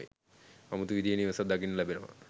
අමුතු විදිහේ නිවසක් දකින්න ලැබෙනවා.